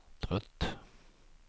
trött